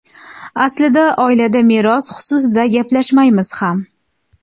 Aslida oilada meros xususida gaplashmaymiz ham.